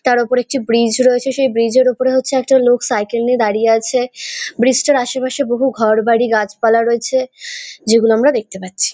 তার ওপরে একটি ব্রিজ রয়েছে সেই ব্রিজ -এর ওপর হচ্ছে একটি লোক সাইকেল নিয়ে দাঁড়িয়ে আছে ব্রিজ - টার আশেপাশে বহু ঘরবাড়ি গাছপালা রয়েছে যেগুলো আমরা দেখতে পাচ্ছি।